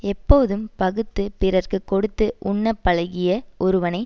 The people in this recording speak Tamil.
எப்போதும் பகுத்துப் பிறர்க்கு கொடுத்து உண்ணப் பழகிய ஒருவனை